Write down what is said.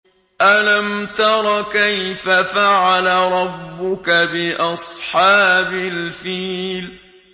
أَلَمْ تَرَ كَيْفَ فَعَلَ رَبُّكَ بِأَصْحَابِ الْفِيلِ